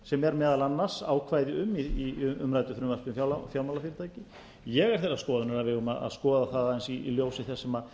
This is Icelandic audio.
sem er meðal annars ákvæði um í umræddu frumvarpi um fjármálafyrirtæki ég er þeirrar skoðunar að við eigum að skoða það aðeins í ljósi þess sem